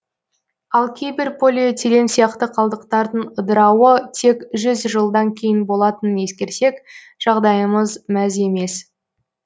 ал кейбір полиэтилен сияқты қалдықтардың ыдырауы тек жүз жылдан кейін болатынын ескерсек жағдайымыз мәз емес